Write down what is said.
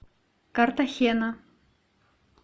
картахена